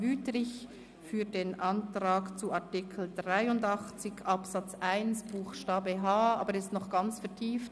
Wüthrich spricht zum Antrag zu Artikel 83 Absatz 1 Buchstabe h, aber er ist noch ganz vertieft.